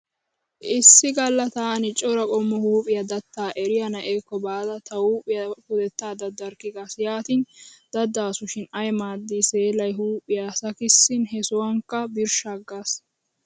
Issi galla taani cora qommo huuphiya daatta eriya na'eekko baada tawu pudettaa daddarkki gaas. Yaatin daddaasushin ay maaddi seelay huuphiya sakissin he sohuwankka birshshaaggaas.